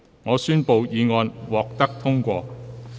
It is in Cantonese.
我宣布議案獲得通過。